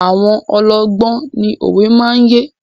Àwọn ọlọ́gbọ́n ni òwe máa ń yé.